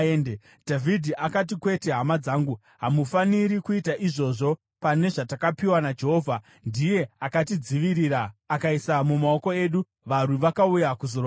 Dhavhidhi akati, “Kwete hama dzangu, hamufaniri kuita izvozvo pane zvatakapiwa naJehovha. Ndiye akatidzivirira akaisa mumaoko edu varwi vakauya kuzorwa nesu.